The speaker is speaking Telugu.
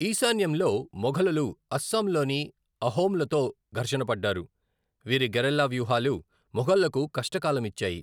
ఈశాన్యంలో, మొఘలులు అస్సాంలోని అహోమ్లతో ఘర్షణ పడ్డారు, వీరి గెరిల్లా వ్యూహాలు మొఘల్లకు కష్టకాలం ఇచ్చాయి.